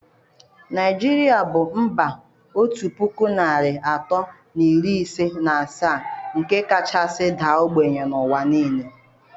Naijiria bụ mba otu puku narị atọ na iri ise na asaa nke kachasị daa ogbenye n'ụwa niile.